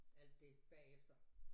Alt det bagefter